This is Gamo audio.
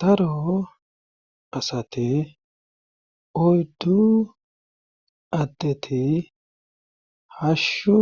Daro asate oyddu addeti hashshu